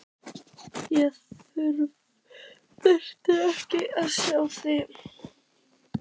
Ég þurfti ekkert að sjá þig.